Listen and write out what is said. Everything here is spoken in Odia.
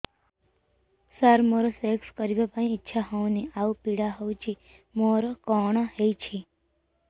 ସାର ମୋର ସେକ୍ସ କରିବା ପାଇଁ ଇଚ୍ଛା ହଉନି ଆଉ ପୀଡା ହଉଚି ମୋର କଣ ହେଇଛି